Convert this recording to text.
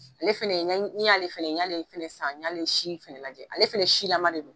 Ale fana , n'i y'a ale fana ye, n y'ale fana san, n y'ale si lajɛ, ale fana siyama de don.